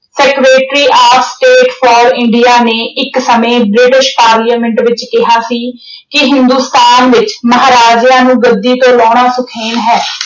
Seretary of state for India ਨੇ ਇੱਕ ਸਮੇਂ British Parliament ਵਿੱਚ ਕਿਹਾ ਸੀ ਕਿ ਹਿੰਦੋਸਤਾਨ ਵਿੱਚ ਮਹਾਰਾਜਿਆਂ ਨੂੰ ਗੱਦੀ ਤੋਂ ਲਾਉਣਾ ਸੁਖੈਨ ਹੈ।